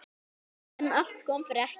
En allt kom fyrir ekki!